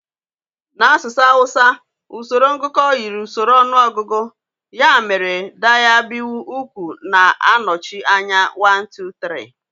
N'asụsụ Hausa, usoro ngụkọ yiri usoro ọnụọgụgụ, ya mere daya, biyu, uku na-anọchi anya 1, 2, 3.